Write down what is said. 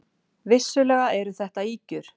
Vissulega eru þetta ýkjur.